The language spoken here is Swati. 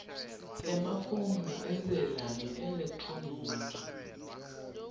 emafomu entsela ngeelekthroniki